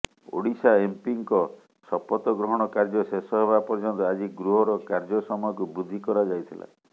ଓଡ଼ିଶା ଏମପିଙ୍କ ଶପଥ ଗ୍ରହଣ କାର୍ଯ୍ୟ ଶେଷ ହେବା ପର୍ଯନ୍ତ ଆଜି ଗୃହର କାର୍ଯ୍ୟସମୟକୁ ବୃଦ୍ଧି କରାଯାଇଥିଲା